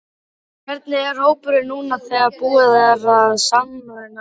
Hvernig er hópurinn núna þegar búið er að sameina liðin?